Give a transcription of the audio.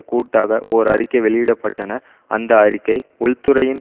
கூட்டாக ஓர் அறிக்கை வெளியிடப்பட்டனர் அந்த அறிக்கை உள்துறையின்